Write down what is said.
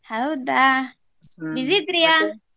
ಹೌದಾ busy ಇದ್ರಿಯ.